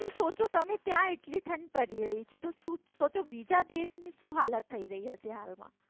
જો ત્યાં તમે એટલી ઠંડ પડી રહી છે તો સોચો બીજા દેશની શું હાલત થઈ રહી હશે હાલમાં